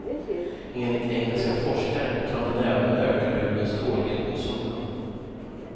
Enligt engelska forskare kan den även öka hudens tålighet mot solen.